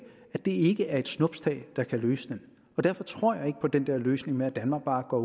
det ikke er et snuptag der kan løse den og derfor tror jeg ikke på den der løsning med at danmark bare går